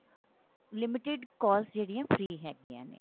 limited calls ਜਿਹੜੀਆਂ free ਹੈਗੀਆਂ ਨੇ